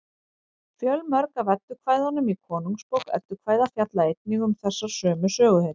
fjölmörg af eddukvæðunum í konungsbók eddukvæða fjalla einnig um þessar sömu söguhetjur